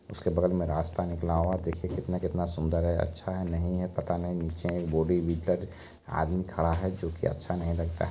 उसके बगल में रास्ता निकला हुआ है देखिए कितना कितना सुंदर है अच्छा है नहीं है पता नहीं नीचे बॉडी बिल्डर आदमी खड़ा है जो कि अच्छा नहीं लगता है।